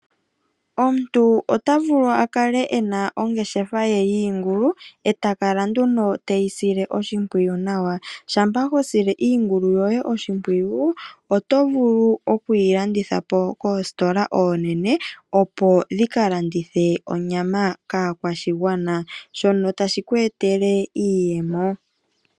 Omuntu otavulu okukala ena ongeshefa ye yiingulu ee takala nduno teyisile oshimpwiyu nawa, shampa hosile iingulu yoye oshimpwiyu otovulu okuyilandithapo koositola oonene opo dhika landithe onyama kaakwashigwana, shono tashi kweetele iiyemo.